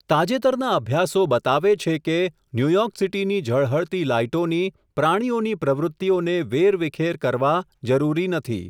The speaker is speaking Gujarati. તાજેતરના અભ્યાસો બતાવે છે કે, ન્યૂયોર્કસીટી ની ઝળહળતી લાઈટોની, પ્રાણીઓની પ્રવૃત્તિઓને, વેરવિખેર કરવા, જરૂરી નથી.